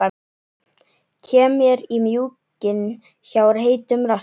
Kem mér í mjúkinn hjá heitum rassi.